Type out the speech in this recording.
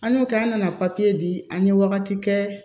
An y'o k'an nana di an ye wagati kɛ